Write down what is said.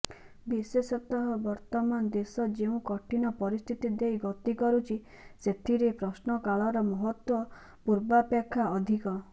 ବିଶେଷତଃ ବର୍ତ୍ତମାନ ଦେଶ ଯେଉଁ କଠିନ ପରିସ୍ଥିତି ଦେଇ ଗତି କରୁଚି ସେଥିରେ ପ୍ରଶ୍ନକାଳର ମହତ୍ତ୍ବ ପୂର୍ବାପେକ୍ଷା ଅଧିକ